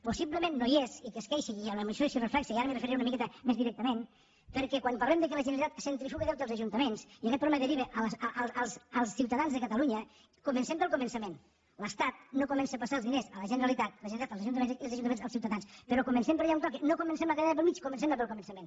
possiblement no hi és i qui es queixa i a la moció s’hi reflecteix i ara m’hi referiré una miqueta més directament perquè quan parlem del fet que la generalitat centrifuga deute als ajuntaments i aquest problema deriva als ciutadans de catalunya comencem pel començament l’estat no comença a passar els diners a la generalitat la generalitat als ajuntaments i els ajuntaments als ciutadans però comencem per allà on toca no comencem la cadena pel mig comencem la pel començament